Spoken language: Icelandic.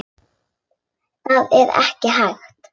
Það var ekki hægt.